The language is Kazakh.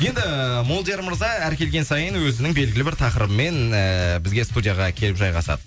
енді ііі молдияр мырза әр келген сайын өзінің белгілі бір тақырыбымен ііі бізге студияға келіп жайғасады